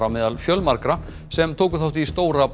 á meðal fjölmargra sem tóku þátt í stóra